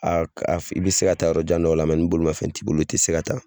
i bi se ka taa yɔrɔ jan dɔ la ni bolimanfɛn t'i bolo i ti se ka taa